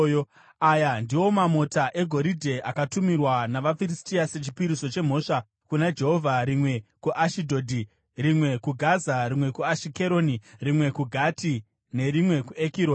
Aya ndiwo mamota egoridhe akatumirwa navaFiristia sechipiriso chemhosva kuna Jehovha, rimwe kuAshidhodhi, rimwe kuGaza, rimwe kuAshikeroni, rimwe kuGati nerimwe kuEkironi.